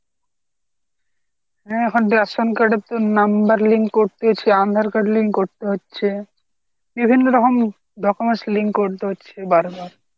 হ্যা এখন ration card এর তো number link করতে হচ্ছে আধার card link করতে হচ্ছে বিভিন্ন রকম documents link করতে হচ্ছে বারবার।